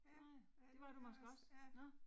Ja. Ja, det var jeg også